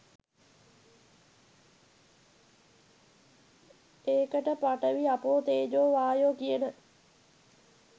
ඒකට පඨවි ආපෝ තේජෝ වායෝ කියන